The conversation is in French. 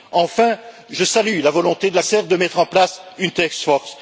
Enfin, je salue la volonté de la commissaire de mettre en place une task force.